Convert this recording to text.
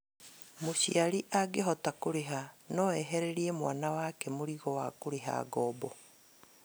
Mũciari angĩhota kũrĩha no ehererie mwana wake mũrigo wa kũrĩha ngoombo